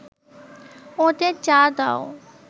ওদের চা দাও